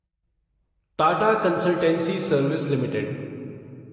Tata consultancy service limited